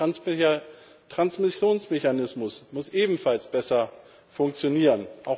Der Transmissionsmechanismus muss ebenfalls besser funktionieren.